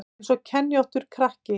Eins og kenjóttur krakki